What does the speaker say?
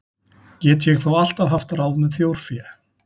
Get ég þó alltaf haft ráð með þjórfé.